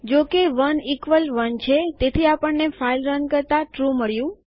જો કે ૧ ઇકવલ ૧ છે તેથી આપણને ફાઈલ રન કરતા ટ્રૂ મળ્યું